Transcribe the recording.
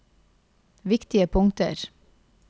viktige punkter